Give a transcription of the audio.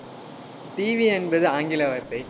TV என்பது ஆங்கில வார்த்தை.